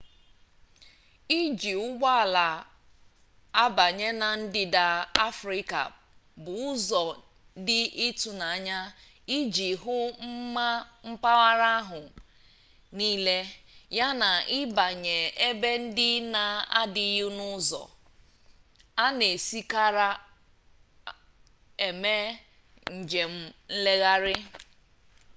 iji ụgbọ ala abanye na ndịda afrịka bụ ụzọ dị ịtụnanya iji hụ mma mpaghara ahụ niile yana ịbanye ebe ndị na-adịghị n'ụzọ a na-esikarị eme njem nlegharị